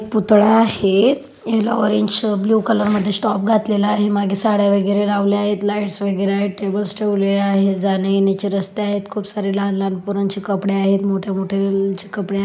पुतळा आहे ह्याला ऑरेंजच ब्ल्यु कलरमध्ये टॉप घातलेला आहे माघे साड्यावगैरे लावल्या आहेत लाइट्स वगैरे आहेत टेबल्स ठेवलेल्या आहेत जाण्यायेण्याचे रस्ते आहेत खूप सारे लहान लहान पोरांची कपडे आहेत मोठे मोठे ची कपडे--